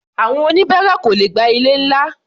Àwọn oníbáárà kò lè gba ilé-ńlá.